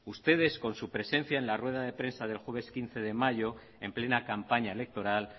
ustedes con su presencia en la rueda de prensa del jueves quince de mayo en plena campaña electoral